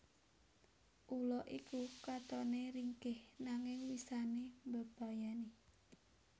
Ula iku katone ringkih nanging wisane mbebayani